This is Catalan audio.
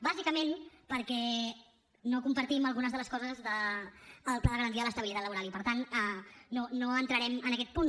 bàsicament perquè no compartim algunes de les coses del pla de garantia de l’estabilitat laboral i per tant no entrarem en aquest punt